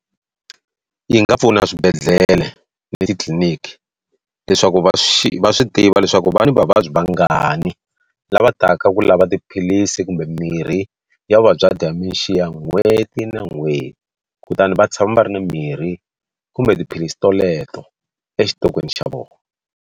Yi nga pfuna eswibedhlele na titliliniki leswaku va swi va swi tiva leswaku va ni vavabyi vangani lava taka ku lava tiphilisi kumbe mirhi ya vuvabyi bya dementia n'hweti na n'hweti kutani va tshama va ri ni mirhi kumbe tiphilisi toleto exitokweni xa vona.